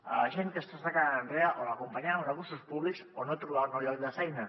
a la gent que s’està quedant enrere o l’acompanyem amb recursos públics o no trobaran un nou lloc de feina